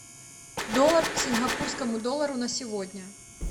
доллар к сингапурскому доллару на сегодня